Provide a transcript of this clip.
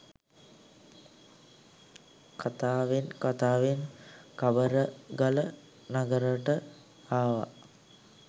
කතාවෙන් කතාවෙන් කබරගල නගරෙට ආව.